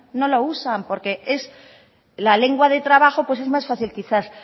no lo usan porque la lengua de trabajo pues es más fácil quizás